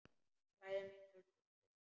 Bræður mínir og systur.